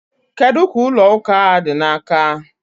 Kedu ka ụlọ ụka a dị n'aka?